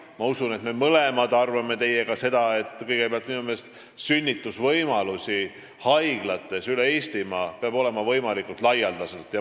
Ma usun, et me mõlemad arvame seda, et sünnitusvõimalusi peab haiglates üle Eestimaa olema võimalikult laialdaselt.